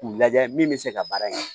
K'u lajɛ min bɛ se ka baara in kɛ